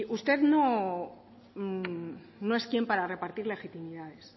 usted no es quién para repartir legitimidades